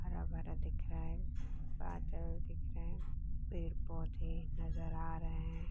हरा-भरा दिख रहा है। बादल दिख रहे है पेड़-पौधे नजर आ रहे हैं ।